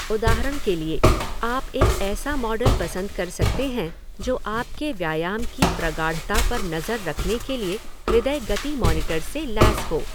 उदाहरण के लिए, आप एक ऐसा मॉडल पसंद कर सकते हैं जो आपके व्यायाम की प्रगाढ़ता पर नज़र रखने के लिए हृदय गति मॉनिटर से लैस हो।